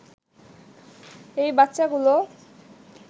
এই বাচ্চাগুলো